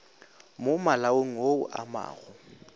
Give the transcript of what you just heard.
mo malaong wo o amago